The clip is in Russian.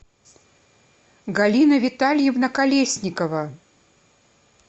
галина витальевна колесникова